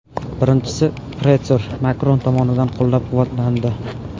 Birinchisi, pretor Makron tomonidan qo‘llab-quvvatlandi.